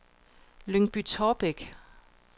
Lyngby-Taarbæk